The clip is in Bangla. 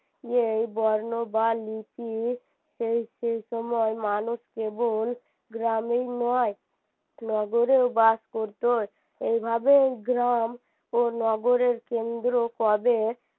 এই বর্ণ বা লিপি সেই সেই সময় মানুষ কেবল গ্রামেই নয় নগরেও বাস করতো এভাবেই গ্রাম ও নগরের কেন্দ্র কবে